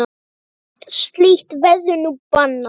Allt slíkt verður nú bannað.